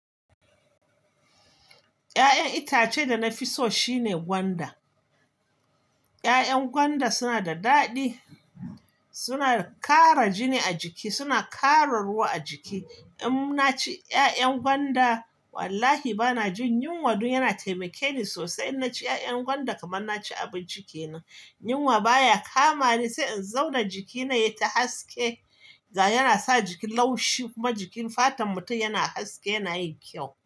Ya'yan itace da na fi so shine gwanda. Ya'yan gwanda suna da daɗi, suna ƙara jini a jiki, suna ƙara ruwa a jiki. In naci ya'yan gwanda wallahi ba na jin yunwa dun, yana taimake ni sosai. In naci ya'yan gwanda kamar na ci abinci kenan. Yunwa baya kama ni sai in zauna jikina ya yi ta haske. Yana sa jiki laushi kuma jikin fatan mutum yana haske, yana yin kyau.